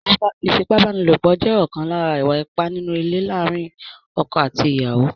Ífipá-báni-lòpọ̀ jẹ́ ọ̀kan lára ìwà ipá nínú ilé láàárín ọkọ̀ àti ìyàwó.